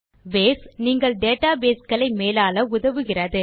base நீங்கள் database களை மேலாள உதவுகிறது